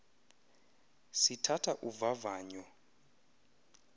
sithatha uvavanyo lw